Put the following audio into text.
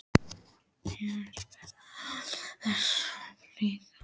Já, svarar hún án þess að blikna.